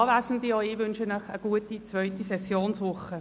Auch ich wünsche Ihnen eine gute zweite Sessionswoche.